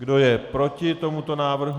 Kdo je proti tomuto návrhu?